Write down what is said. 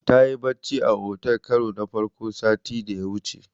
Tayi bacci a otel karo na farko sati da ya wuce.